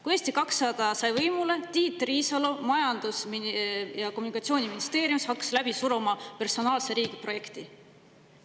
Kui Eesti 200 sai võimule, hakkasid Tiit Riisalo ja Majandus- ja Kommunikatsiooniministeerium läbi suruma personaalse riigi projekti.